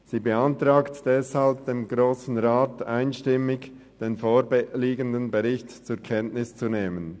Sie beantragt deshalb dem Grossen Rat einstimmig, den vorliegenden Bericht zur Kenntnis zu nehmen.